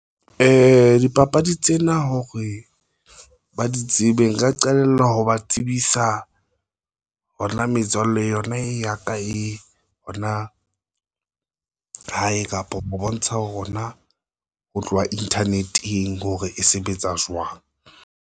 Dipapadi tsena hore ba di tsebe nka qalella ho ba tsebisa hona metswalle yona e ya ka, e hona hae kapa ho bontsha hona ho tloha internet-eng hore e sebetsa jwang.